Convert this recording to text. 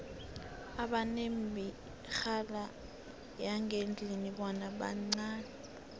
abanemirhala yangendlini bona bancani